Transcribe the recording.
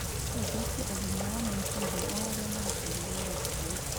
no gũthũkie ũgima wa meciria wa arĩa marutaga wĩra kou.